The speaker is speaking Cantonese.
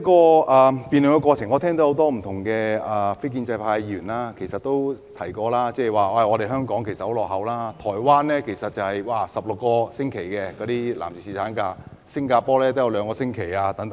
在辯論過程中，我聽到很多非建制派議員在發言時說香港很落後，因為台灣的男士有16星期的侍產假，新加坡也有兩星期。